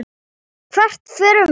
Hvert förum við?